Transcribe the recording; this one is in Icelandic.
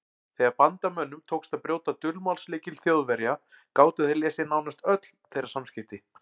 Þegar Bandamönnum tókst að brjóta dulmálslykil Þjóðverja gátu þeir lesið nánast öll þeirra samskipti.